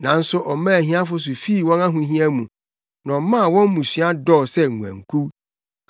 Nanso ɔmaa ahiafo so fii wɔn ahohia mu na ɔmaa wɔn mmusua dɔɔ sɛ nguankuw.